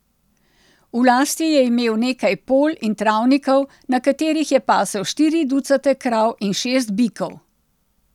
V lasti je imel nekaj polj in travnikov, na katerih je pasel štiri ducate krav in šest bikov.